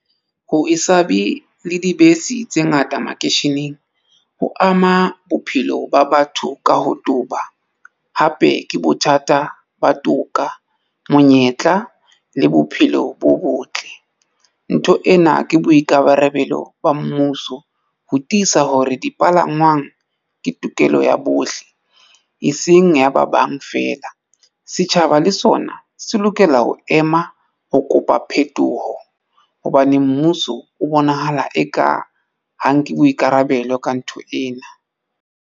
Ho e se abe le dibese tse ngata makeisheneng ho ama bophelo ba batho ka ho toba hape ke bothata ba toka, monyetla le bophelo bo botle. Ntho ena ke boikabarabelo ba mmuso ho tiisa hore dipalangwang ke tokelo ya bohle e seng ya ba bang feela. Setjhaba taba le sona se lokela ho ema ho kopa phetoho hobane mmuso o bonahala eka ha nke boikarabelo ka ntho ena.